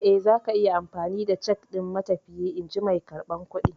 Eh, zaku iya amfani da cak ɗin matafiyi, in ji mai karɓar kuɗi.